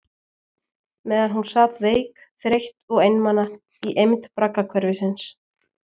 Meðan hún sat veik, þreytt og einmana í eymd braggahverfisins.